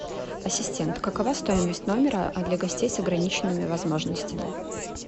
ассистент какова стоимость номера для гостей с ограниченными возможностями